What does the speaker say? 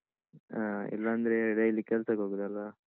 ಹ ಇಲ್ಲಾಂದ್ರೆ daily ಕೆಲ್ಸಕ್ ಹೋಗುದಲ್ವಾ?